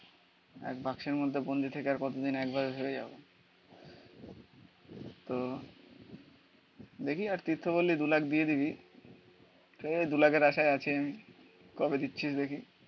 এক বাক্সের মধ্যে বন্দি থেকে আর কতদিন একভাবে হেরে যাবো তো দেখি আর তীর্থপল্লী দু লাখ দিয়ে দিবি ঠিক আছে দু লাখের আশায় আছেন. কবে দিচ্ছিস দেখি?